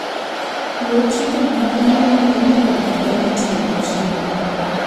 Luw chike mag anyuolau kod kaka itiyo gi chiemo.